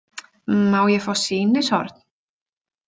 Má ég fá sýnishorn?